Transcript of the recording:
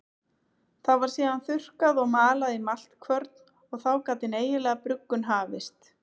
Það var síðan þurrkað og malað í maltkvörn og þá gat hin eiginlega bruggun hafist.